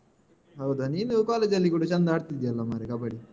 ಹೌದಾ ನೀನು college ಅಲ್ಲಿ ಕೂಡ ಚಂದ ಆಡ್ತಿದ್ದಿಯಲ್ಲ ಮಾರೆ ಕಬ್ಬಡಿ.